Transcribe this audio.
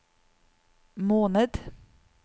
måned